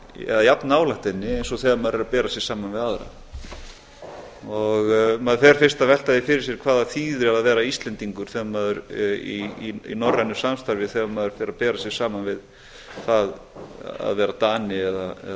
eða jafn nálægt henni eins og þegar maður er að bera sig saman við aðra maður fer fyrst að velta því fyrir sér hvað það þýði að vera íslendingur í norrænu samstarfi þegar maður fer að bera sig saman við það að vera dani eða